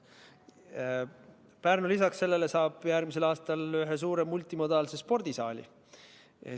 Lisaks sellele saab Pärnu järgmisel aastal ühe suure multimodaalse spordisaali.